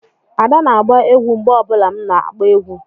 Ada na-agba egwú mgbe ọ bụla m na-akpo egwu